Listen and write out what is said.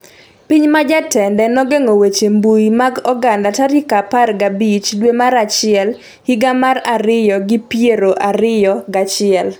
Piny ma jatende nogeng'o weche mbui mag oganda tarik apar g'abich dwe mar achiel higa gana ariyo gi piero ariyo g'achiel